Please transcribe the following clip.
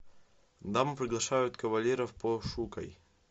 дамы приглашают кавалеров пошукай